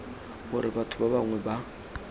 gore batho ba bangwe ba